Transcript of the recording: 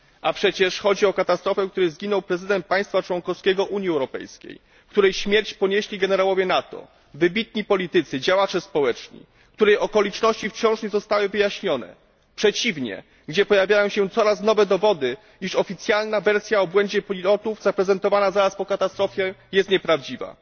A przecież chodzi o katastrofę, w której zginął prezydent państwa członkowskiego Unii Europejskiej i w której śmierć ponieśli generałowie NATO, wybitni politycy, działacze społeczni, a której okoliczności wciąż nie zostały wyjaśnione przeciwnie, w której pojawiają się coraz nowe dowody, iż oficjalna wersja o błędzie pilotów, zaprezentowana zaraz po katastrofie, jest nieprawdziwa.